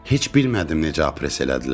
Heç bilmədim necə apress elədilər.